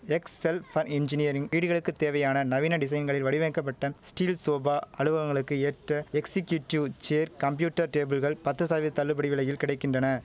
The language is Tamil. எக்ஸ் செல் பன் இன்ஜினியரிங் வீடுகளுக்கு தேவையான நவீன டிசைன்களில் வடிவமைக்கப்பட்ட ஸ்டீல் சோபா அலுவங்களுக்கு ஏற்ற எக்ஸிகியூட்டிவ் சேர் கம்ப்யூட்டர் டேபிள்கள் பத்து சதவீத தள்ளுபடி விலையில் கிடை கின்றன